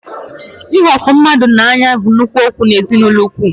Ịhụ ofu mmadụ n'anya bụ nnukwu okwu n'ezinụlọ ukwu